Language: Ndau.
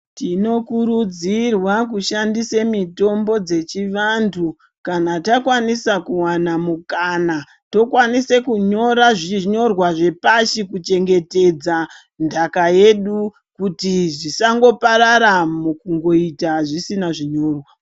Tinokurudzirwa kushandisa mitombo dzechivantu, kana takwanisa kuwana mikana, tokwanisa kunyora zvinyorwa zvepashi kuchengeta nhaka yedu kuti zvisangoparara mukuita zvisina zvinyorwa